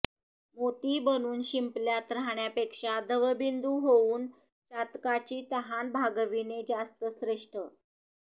मोती बनून शिंपल्यात राहण्यापेक्षा दवबिंदू होऊन चातकाची तहान भागविणे जास्त श्रेष्ठ